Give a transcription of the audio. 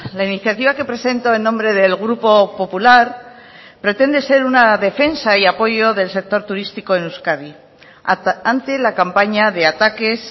la iniciativa que presento en nombre del grupo popular pretende ser una defensa y apoyo del sector turístico en euskadi ante la campaña de ataques